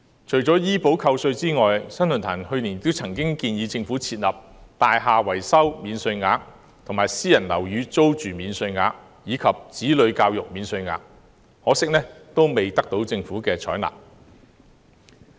除了醫保扣稅外，新世紀論壇去年亦曾建議政府設立"大廈維修免稅額"、"私人樓宇租金免稅額"及"子女教育免稅額"，可惜未獲政府採納。